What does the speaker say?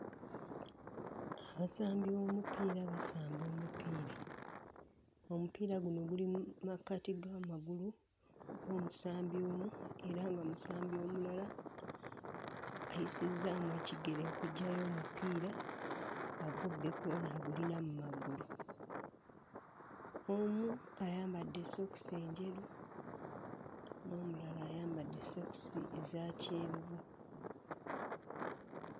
Abasambi b'omupiira basamba omupiira. Omupiira guno guli mu makkati g'amagulu g'omusambi omu era ng'omusambi omulala ayisizzaamu ekigere okuggyayo omupiira agubbe kw'ono agulina mmagulu. Omu ayambadde sookisi enjeru n'omulala ayambadde sookisi eza kyenvu.